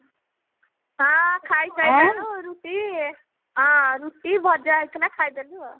ହଁ ଖାଇ ସାଇଲୁଣି ରୁଟି ହଁ ରୁଟି ଭଜା ହେଇଥିଲା ଖାଇଦେଲି ଆଉ